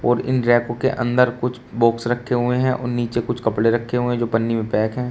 और इन रैपो के अंदर कुछ बॉक्स रखे हुए हैं और नीचे कुछ कपड़े रखे हुए जो पन्नी में पैक हैं।